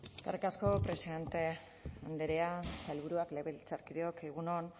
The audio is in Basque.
eskerrik asko presidente andrea sailburuak legebiltzarkideok egun on